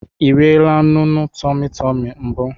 Ị eriela nunu tumu tumu mbụ?